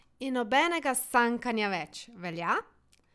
In nobenega sankanja več, velja?